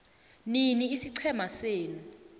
nini isiqhema senu